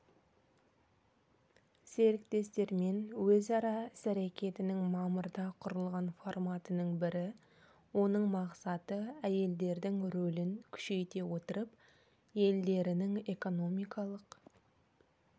серіктестермен өзара іс-әрекетінің мамырда құрылған форматының бірі оның мақсаты әйелдердің рөлін күшейте отырып елдерінің экономикалық